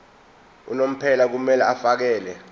unomphela kumele afakele